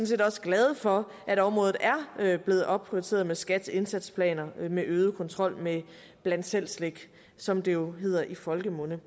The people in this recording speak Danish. set også glade for at området er blevet opprioriteret med skats indsatsplaner med øget kontrol med bland selv slik som det jo hedder i folkemunde